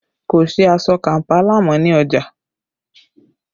Kò sí aṣọ Kampala mọ́ ní ọjà